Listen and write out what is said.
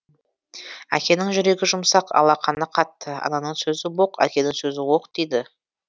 әкенің жүрегі жұмсақ алақаны қатты ананың сөзі боқ әкенің сөзі оқ дейді